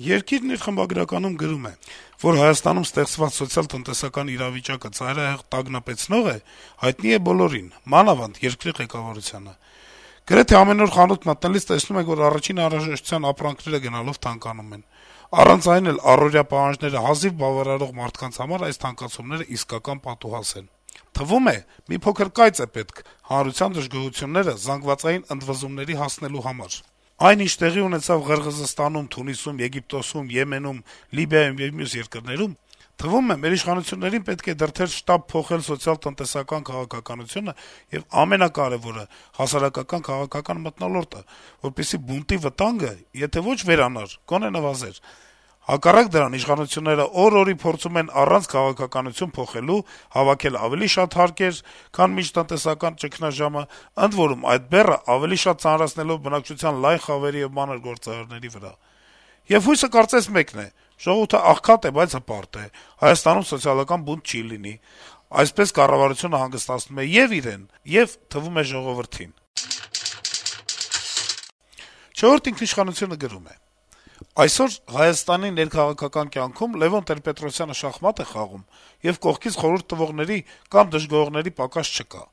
«Երկիր»-ը խմբագրականում գրում է. - «Որ Հայաստանում ստեղծված սոցիալ-տնտեսական իրավիճակը ծայրահեղ տագնապեցնող է, հայտնի է բոլորին, մանավանդ` երկրի ղեկավարությանը: Գրեթե ամեն օր խանութ մտնելիս` տեսնում ենք, որ առաջին անհրաժեշտության ապրանքները գնալով թանկանում են: Առանց այն էլ առօրյա պահանջները հազիվ բավարարող մարդկանց համար այս թանկացումները իսկական պատուհաս են: Թվում է` մի փոքր կայծ է պետք հանրության դժգոհությունները զանգվածային ընդվզումների հասնելու համար: Այն, ինչ տեղի ունեցավ Ղրղըզստանում, Թունիսում, Եգիպտոսում, Եմենում, Լիբիայում եւ մյուս երկրներում, թվում է, մեր իշխանություններին պետք է դրդեր շտապ փոխել սոցիալ-տնտեսական քաղաքականությունը եւ ամենակարեւորը` հասարակական-քաղաքական մթնոլորտը, որպեսզի բունտի վտանգը, եթե ոչ վերանար, գոնե նվազեր: Հակառակ դրան` իշխանությունները օր-օրի փորձում են, առանց քաղաքականություն փոխելու, հավաքել ավելի շատ հարկեր, քան մինչեւ տնտեսական ճգնաժամը, ընդ որում` այդ բեռը ավելի շատ ծանրացնել բնակչության լայն խավերի ու մանր գործարարների վրա: Եվ հույսը կարծես մեկն է. «ժողովուրդը աղքատ է, բայց հպարտ է», «Հայաստանում սոցիալական բունտ չի լինի» Այսպես կառավարությունը հանգստացնում է ե'ւ իրեն, ե'ւ թվում է` ժողովրդին»: «Չորրորդ ինքիշխանություն»-ը գրում է. - «Այսօր Հայաստանի ներքաղաքական կյանքում Լեւոն Տեր-Պետրոսյանը շախմատ է խաղում, եւ կողքից խորհուրդ տվողների կամ դժգոհողների պակաս չկա: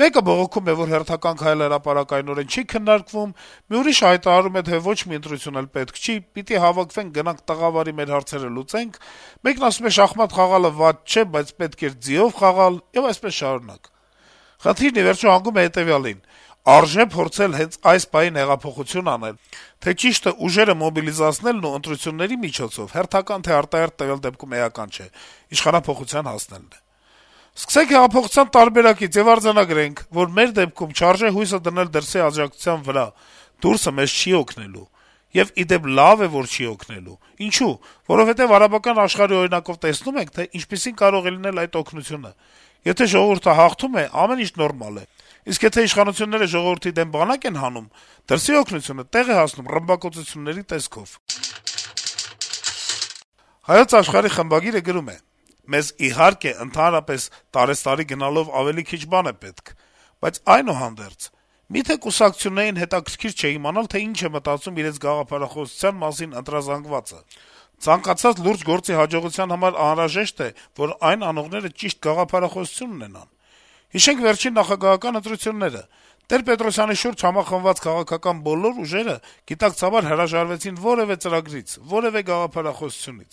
Մեկը դժգոհում է, որ հերթական քայլը հրապարակայնորեն չի քննարկվում, մի ուրիշը հայտարարում է, թե ոչ մի ընտրություն էլ պետք չէ` պիտի հավաքվենք-գնանք «տղավարի» մեր հարցերը լուծենք, մեկն ասում է` շախմատ խաղալը վատ չէ, բայց պետք էր «ձիով խաղալ», եւ այդպես շարունակ: Խնդիրն ի վերջո հանգում է հետեւյալին. արժե՞ փորձել հենց այս պահին հեղափոխություն անել, թե՞ ճիշտը ուժերը մոբիլիզացնելն ու ընտրությունների միջոցով (հերթական թե արտահերթ` տվյալ դեպքում էական չէ) իշխանափոխության հասնելն է: Սկսենք հեղափոխության տարբերակից եւ արձանագրենք, որ մեր դեպքում չարժե հույսը դնել դրսի աջակցության վրա` «դուրսը» մեզ չի օգնելու: Եվ, ի դեպ, լավ է, որ չի օգնելու: Ինչո՞ւ: Որովհետեւ արաբական աշխարհի օրինակով տեսնում ենք, թե ինչպիսին կարող է լինել այդ օգնությունը: Եթե ժողովուրդը հաղթում է, ամեն ինչ նորմալ է, իսկ եթե իշխանությունները ժողովրդի դեմ բանակ են հանում, «դրսի օգնությունը» տեղ է հասնում ռմբակոծությունների տեսքով»: «Հայոց Աշխարհ»-ի խմբագիրը գրում է. - «Մեզ, իհարկե, ընդհանրապես տարեցտարի գնալով ավելի քիչ բան է պետք։ Բայց այդուհանդերձ։ Մի՞թե կուսակցություններին հետաքրքիր չէ իմանալ, թե ինչ է մտածում իրենց գաղափարախոսության մասին ընտրազանգվածը։ Ցանկացած լուրջ գործի հաջողության համար անհրաժեշտ է, որ այն անողները ճիշտ գաղափարախոսություն ունենան։ Հիշենք վերջին նախագահական ընտրությունները։ Տեր-Պետրոսյանի շուրջ համախմբված քաղաքական բոլոր ուժերը գիտակցաբար հրաժարվեցին որեւէ ծրագրից, որեւէ գաղափարախոսությունից։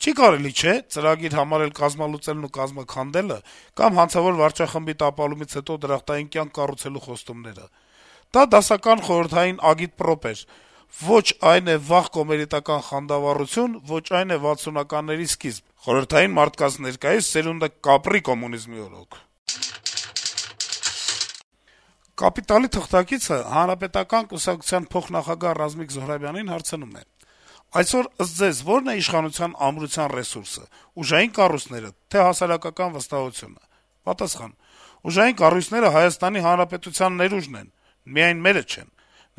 Չի կարելի, չէ՞, ծրագիր համարել «կազմալուծելն ու կազմաքանդելը» կամ հանցավոր վարչախմբի տապալումից հետո դրախտային կյանք կառուցելու խոստումները։ Դա դասական խորհրդային ագիտպրոպ էր. ոչ այն է վաղ կոմերիտական խանդավառություն, ոչ այն է վաթսունականների սկիզբ. խորհրդային մարդկա՛նց ներկայիս սերո՛ւնդը կապրի՛ կոմունիզմի՛ օրո՛ք»։ «Կապիտալ»-ի թղթակիցը Հանրապետական կուսակցության փոխնախագահ Ռազմիկ Զոհրաբյանին հարցնում է. - «Այսօր, ըստ Ձեզ, ո՞րն է իշխանության ամրության ռեսուրսը՝ ուժային կառույցնե՞րը, թե՞ հասարակության վստահությունը»: Զոհրաբյանը պատասխանում է. -« Ուժային կառույցները Հայաստանի Հանրապետության ներուժն են, միայն մերը չեն։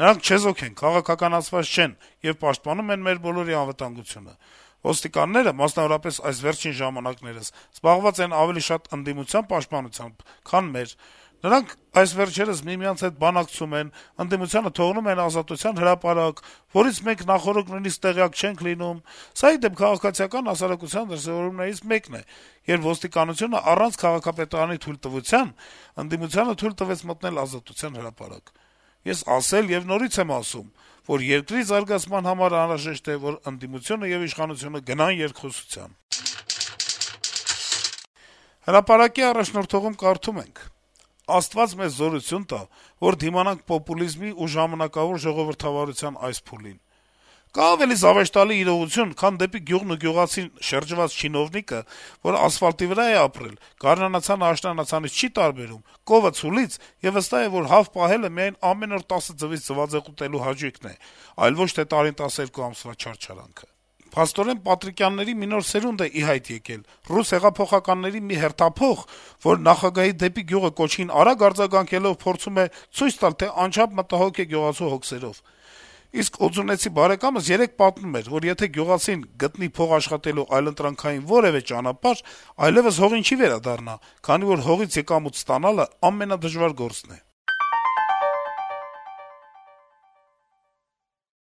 Նրանք չեզոք են, քաղաքականացված չեն եւ պաշտպանում են մեր բոլորի անվտանգությունը։ Ոստիկանները, մասնավորապես, այս վերջին ժամանակներս զբաղված են ավելի շատ ընդդիմության պաշտպանությամբ, քան մեր։ Նրանք այս վերջերս միմյանց հետ բանակցում են, ընդդիմությանը թողնում են Ազատության հրապարակ, որից մենք նախօրոք նույնիսկ տեղյակ չենք լինում։ Սա, ի դեպ, քաղաքացիական հասարակության դրսեւորումներից մեկն է, երբ ոստիկանությունն առանց քաղաքապետարանի թույլտվության, ընդդիմությանը թույլ տվեց մտնել Ազատության հրապարակ։ Ես ասել եւ նորից եմ ասում, որ երկրի զարգացման համար անհրաժեշտ է, որ ընդդիմությունը եւ իշխանությունը գնան երկխոսության»։ «Հրապարակ»-ի առաջնորդողում կարդում ենք. - «Աստված մեզ զորություն տա, որ դիմանանք պոպուլիզմի ու ժամանակավոր ժողովրդավարության այս փուլին: Կա՞ արդյոք ավելի զավեշտալի իրողություն, քան դեպի գյուղն ու գյուղացին շրջված չինովնիկը, որն ասֆալտի վրա է ապրել, գարնանացանն աշնանացանից չի տարբերում, կովը` ցուլից, եւ վստահ է, որ հավ պահելը ամեն օր 10 ձվից ձվածեղ ուտելու հաճույքն է, այլ ոչ թե տարին 12 ամսվա չարչարանքը: Փաստորեն, Պատրիկյանների մի նոր սերունդ է ի հայտ եկել, ռուս հեղափոխականների մի հերթափոխ, որը նախագահի «դեպի գյուղ» կոչին արագ արձագանքելով, փորձում է ցույց տալ, թե անչափ մտահոգ է գյուղացու հոգսերով: Իսկ օձունեցի բարեկամս երեկ պատմում էր, որ եթե գյուղացին գտնի փող աշխատելու այլընտրանքային որեւէ ճանապարհ, այլեւս հողին չի վերադառնա, քանի որ հողից եկամուտ ստանալը ամենադժվար գործն է»: